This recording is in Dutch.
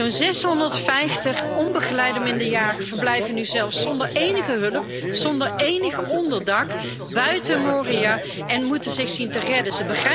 Zo'n 650 niet begeleide minderjarigen verblijven nu zelfs zonder enige hulp, zonder enig onderdak buiten Moria en moeten zich zien te redden.